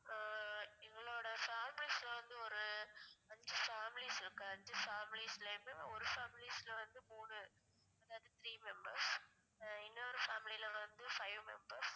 ஆஹ் எங்களோட families லாம் வந்து ஒரு அஞ்சி families இருக்கு அஞ்சி families லயுமே ஒரு families ல வந்து மூணு அதாவது three members ஆஹ் இன்னொரு family ல வந்து five members